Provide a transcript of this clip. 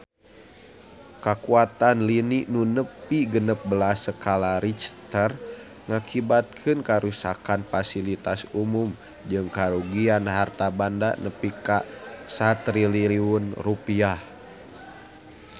Kakuatan lini nu nepi genep belas skala Richter ngakibatkeun karuksakan pasilitas umum jeung karugian harta banda nepi ka 1 triliun rupiah